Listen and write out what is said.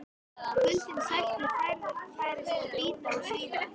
Kuldinn sætti færis að bíta og svíða.